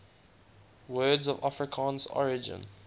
words of afrikaans origin